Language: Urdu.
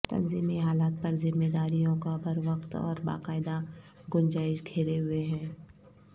تنظیمی حالت پر ذمہ داریوں کا بروقت اور باقاعدہ گنجائش گھیرے ہوئے ہے